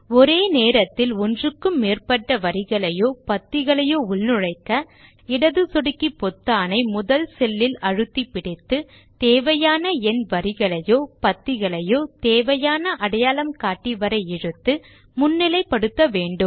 ஒரே நேரத்தில் ஒன்றுக்கு மேற்பட்ட வரிகளையோ பத்திகளையோ உள்நுழைக்க இடது சொடுக்கி பொத்தானை முதல் செல்லில் அழுத்தி பிடித்துதேவையான எண் வரிகளையோ பத்திகளையோ தேவையான அடையாளம் காட்டி வரை இழுத்து முன்னிலை படுத்த வேண்டும்